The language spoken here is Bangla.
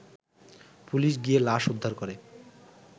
পুলিশ গিয়ে লাশ উদ্ধার করে